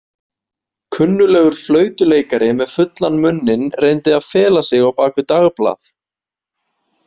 Kunnuglegur flautuleikari með fullan munninn reyndi að fela sig á bak við dagblað.